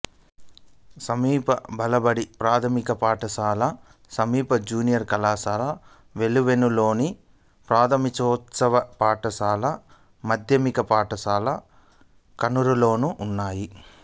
సమీప బాలబడి ప్రాథమిక పాఠశాల సమీప జూనియర్ కళాశాల వెలివెన్నులోను ప్రాథమికోన్నత పాఠశాల మాధ్యమిక పాఠశాల కానూరులోనూ ఉన్నాయి